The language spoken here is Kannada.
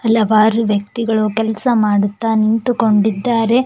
ಹಲವಾರು ವ್ಯಕ್ತಿಗಳು ಕೆಲಸ ಮಾಡುತ್ತ ನಿಂತುಕೊಂಡಿದ್ದಾರೆ.